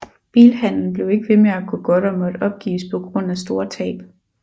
Bilhandelen blev ikke ved med at gå godt og måtte opgives på grund af store tab